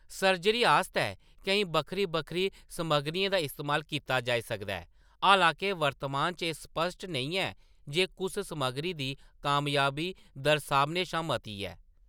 Surgery आस्तै केईं बक्खरी बक्खरी समग्गरियें दा इस्तेमाल कीता जाई सकदा ऐ, हालां के वर्तमान च एह्‌‌ स्पश्ट नेईं ऐ जे कुस समग्गरी दी कामयाबी दर सभनें शा मती ऐ।